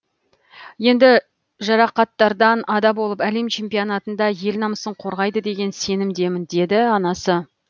енді жарақаттардан ада болып әлем чемпионатында ел намысын қорғайды деген сенімдемін деді анасы